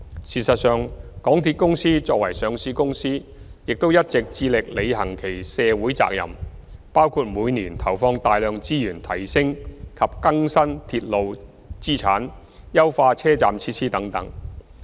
事實上，港鐵公司作為上市公司亦一直致力履行其社會責任，包括每年投放大量資源提升及更新鐵路資產、優化車站設施等。